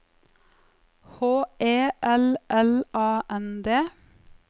H E L L A N D